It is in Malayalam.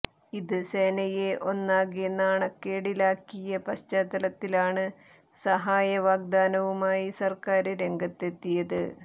ഇത് സേനയെ ഒന്നാകെ നാണക്കേടിലാക്കിയ പശ്ചാത്തലത്തിലാണ് സഹായ വാഗ്ദാനവുമായി സര്ക്കാര് രംഗത്തെത്തിയത്